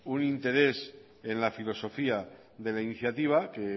un interés en la filosofía de la iniciativa que